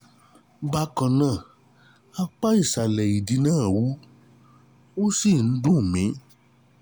Bákan náà, apá ìsàlẹ̀ ìdí náà wú, ó wú, ó sì ń dún mi